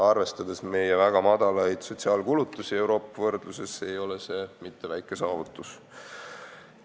Arvestades meie väga väikeseid sotsiaalkulutusi muu Euroopa võrdluses, ei ole see mitte väike saavutus.